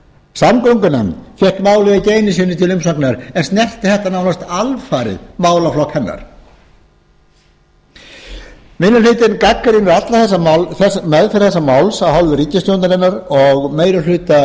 samgöngunefnd fékk málið ekki einu sinni til umsagnar en snertir þetta nánast alfarið málaflokk hennar minni hlutinn gagnrýnir alla meðferð þessa máls af hálfu ríkisstjórnarinnar og meiri hluta